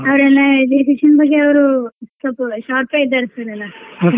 ಅವರೇನ್ education ಬಗ್ಗೆ ಅವ್ರು ಸ್ವಲ್ಪ sharp ಇದ್ದಾರಿ sir ಎಲ್ಲಾ.